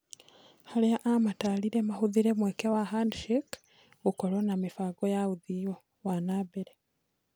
Harĩa amataarire "mahũthĩrĩ mweke wa Handshake" gũkũrũo na mĩbango ya ũthii wa na mbere.